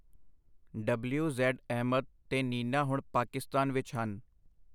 W. Z. Ahmad ਤੇ ਨੀਨਾ ਹੁਣ ਪਾਕਿਸਤਾਨ ਵਿਚ ਹਨ.